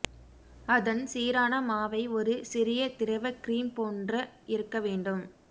அதன் சீரான மாவை ஒரு சிறிய திரவ கிரீம் போன்ற இருக்க வேண்டும்